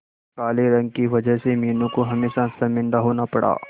काले रंग की वजह से मीनू को हमेशा शर्मिंदा होना पड़ा